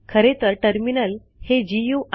खरे तर टर्मिनल हे जीय़ूआय